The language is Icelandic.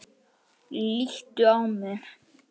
Líttu á mig.